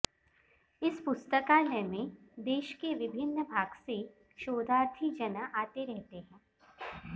इस पुस्तकालय में देश के विभिन्न भाग से शोधार्थी जन आते रहते हैं